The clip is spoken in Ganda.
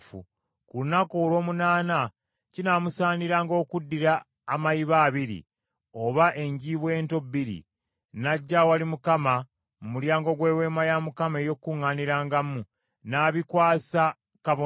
Ku lunaku olw’omunaana kinaamusaaniranga okuddira amayiba abiri oba enjiibwa ento bbiri n’ajja awali Mukama mu mulyango gw’Eweema ey’Okukuŋŋaanirangamu n’abikwasa kabona.